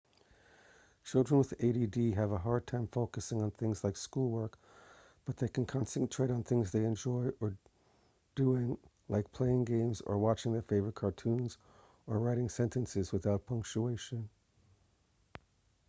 children with add have a hard time focusing on things like school work but they can concentrate on things they enjoy doing like playing games or watching their favorite cartoons or writing sentences without punctuation